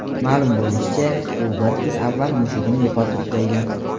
Ma’lum bo‘lishicha, u bir kun avval mushugini yo‘qotib qo‘ygan.